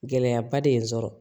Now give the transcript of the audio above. Gɛlɛyaba de ye n sɔrɔ